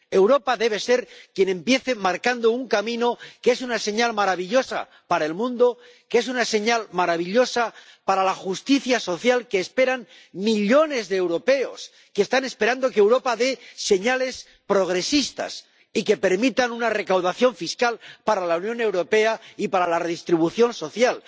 Europa debe ser quien empiece marcando un camino que es una señal maravillosa para el mundo, que es una señal maravillosa para la justicia social que esperan millones de europeos que están esperando que Europa dé señales progresistas y que permita una recaudación fiscal para la Unión Europea y para la redistribución social.